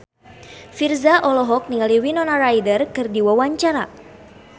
Virzha olohok ningali Winona Ryder keur diwawancara